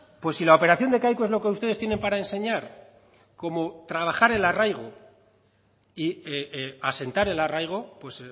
pues si la operación de kaiku es lo que ustedes tienen para enseñar cómo trabajar el arraigo y asentar el arraigo pues